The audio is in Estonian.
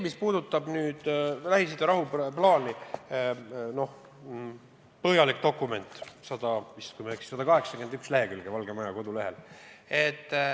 Mis puudutab Lähis-Ida rahuplaani, siis see on põhjalik dokument, kui ma ei eksi, 181 lehekülge Valge Maja kodulehel.